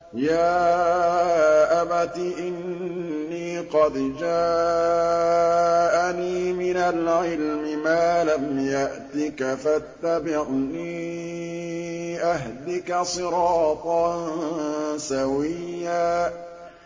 يَا أَبَتِ إِنِّي قَدْ جَاءَنِي مِنَ الْعِلْمِ مَا لَمْ يَأْتِكَ فَاتَّبِعْنِي أَهْدِكَ صِرَاطًا سَوِيًّا